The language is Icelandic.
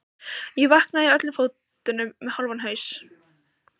Ég vaknaði í öllum fötunum með hálfan haus.